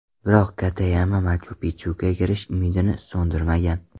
Biroq Katayama Machu-Pikchuga kirish umidini so‘ndirmagan.